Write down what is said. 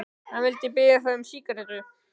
Hann vildi ekki biðja þá um sígarettu.